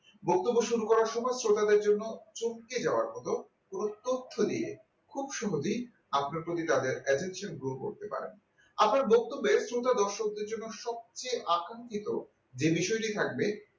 বক্তব্য শুরু করার সময় সূতাদের জন্য চমকে যাওয়ার মত কোনো তথ্য নিয়ে খুব সহজেই আপনার প্রতি তাদের attention grow করতে পারেন আপনার বক্তব্যে শ্রোতাদের দর্শকদের জন্য সবচেয়ে আকাঙ্ক্ষিত সে বিষয়টি থাকবে